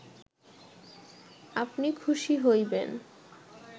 আপনি খুসী হইবেন